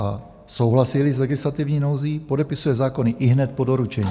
A souhlasí-li s legislativní nouzí, podepisuje zákony ihned po doručení.